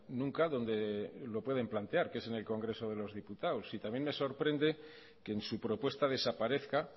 nunca donde lo pueden plantear que es en el congreso de los diputados y también me sorprende que en su propuesta desaparezca